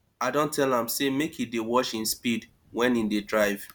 i don tell am sey make e dey watch im speed wen im dey drive